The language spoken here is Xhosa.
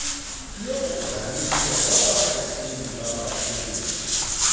yokubhaliswa kwabakhokeli babakhenketh